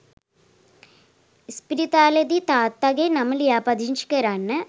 ඉස්පිරිතාලෙදි තාත්තගෙ නම ලියපදිංචි කරන්න